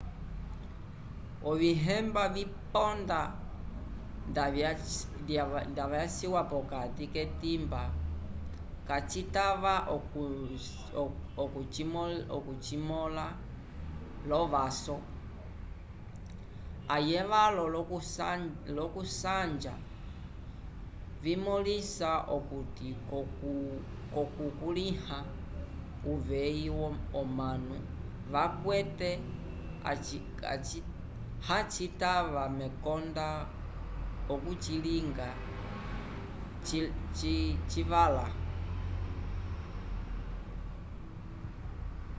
ovihemba viponda nda vyaciwa pokati k'etimba kacitava okucimõla l'ovaso ayevalo l'okusanja vimõlisa okuti k'okukulĩha uveyi omanu vakwete hacitava mekonda okucilinga civala